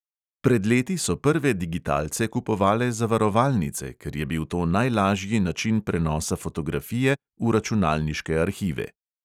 Pred leti so prve digitalce kupovale zavarovalnice, ker je bil to najlažji način prenosa fotografije v računalniške arhive.